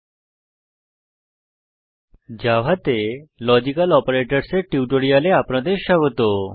জাভাতে লজিক্যাল অপারেটরসহ logical operators এর টিউটোরিয়ালে আপনাদের স্বাগত